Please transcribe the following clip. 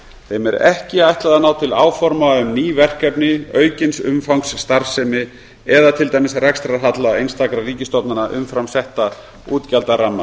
þeim er ekki ætlað að ná til áforma um ný verkefni aukins umfangs starfsemi eða til dæmis rekstrarhalla einstakra ríkisstofnana umfram setta útgjaldaramma